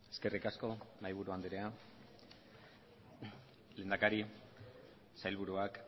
eskerrik asko mahaiburu andrea lehendakari sailburuak